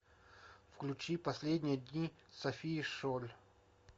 включи последние дни софии шоль